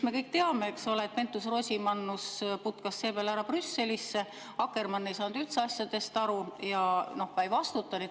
Me kõik teame, eks ole, et Pentus-Rosimannus putkas seepeale ära Brüsselisse, Akkermann ei saanud üldse asjadest aru ja ka ei vastuta.